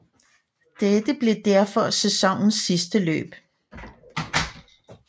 Dette blev derfor sæsonens sidste løb